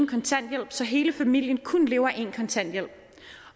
kontanthjælp så hele familien kun lever af en kontanthjælp